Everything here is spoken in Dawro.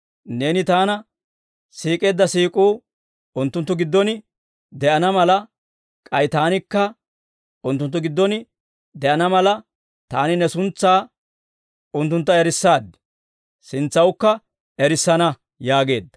Neeni Taana siik'eedda siik'uu unttunttu giddon de'ana mala, k'ay Taanikka unttunttu giddon de'ana mala, Taani Ne suntsaa unttuntta erissaad; sintsawukka erissana» yaageedda.